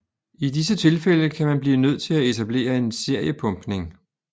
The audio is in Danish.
I disse tilfælde kan man blive nødt til at etablere en seriepumpning